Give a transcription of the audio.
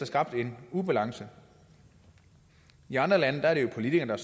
skabt en ubalance i andre lande er det politikerne